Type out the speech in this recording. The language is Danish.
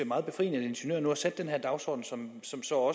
meget befriende at ingeniøren nu har sat den her dagsorden som så